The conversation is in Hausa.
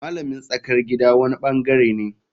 Malamin tsakar gida wani bangare ne.